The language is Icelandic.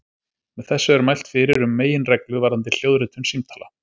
Með þessu er mælt fyrir um meginreglu varðandi hljóðritun símtala.